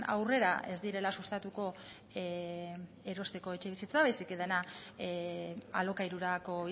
aurrera ez direla sustatuko erosteko etxebizitza baizik eta dena alokairurako